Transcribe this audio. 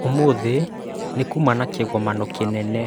Ũmũthĩ nĩ kuuma na kĩgomano kĩnene.